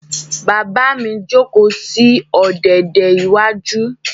Bàbá mi jókòó sí ọ̀dẹ̀dẹ̀ iwájú.